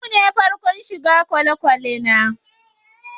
Yau be farkon shigan kwalekwale na.